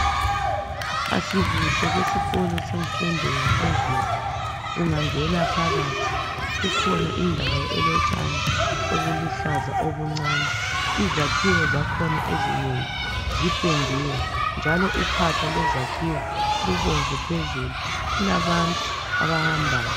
Asibuhle besikolo senfundo yaphezulu. Ungangena phakathi kukhona indawo elotshani obuluhlaza obuncani. izakhiwo zakhona ezinengi ziphendiwe ,njalo uphahla lwezakhiwo lubomvu phezulu. Kulabantu abahambayo.